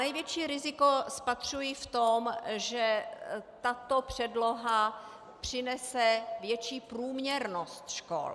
Největší riziko spatřuji v tom, že tato předloha přinese větší průměrnost škol.